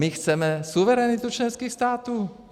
My chceme suverenitu členských států.